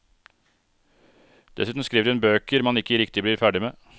Dessuten skriver hun bøker man ikke riktig blir ferdig med.